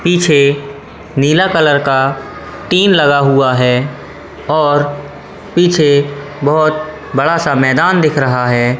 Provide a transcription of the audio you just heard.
पीछे नीला कलर का टीम लगा हुआ है और पीछे बहोत बड़ा सा मैदान दिख रहा है।